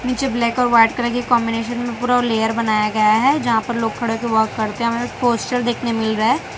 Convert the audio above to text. निचे ब्लैक ओर white colour के कॉम्बिनेशन में पुरा वो लेयर बनाया गया है जहां पर लोग खड़े होके वर्क करते है हमें पोस्टर देखने मिल रहा है।